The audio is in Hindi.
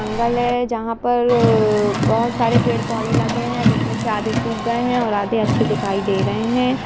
जंगल जहाँ पर बहुत सारे पेड़-पौधे लगे है जिसमे आधे सुख गए है और आधे अच्छे दिखाई दे रहे है।